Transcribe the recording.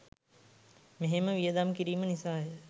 මෙහෙම වියදම් කිරීම නිසාය